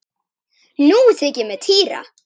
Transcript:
Nú þykir mér týra!